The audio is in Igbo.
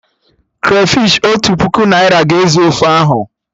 Krafish Otu puku naira ga-ezu ofe ahụ